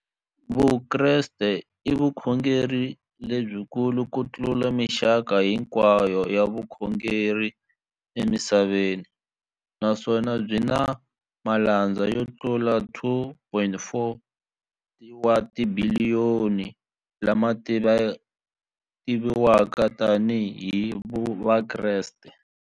Vukreste i vukhongeri lebyi kulu kutlula mixaka hinkwayo ya vukhongeri emisaveni, naswona byi na malandza yo tlula 2.4 wa tibiliyoni, la ma tiviwaka tani hi Vakreste.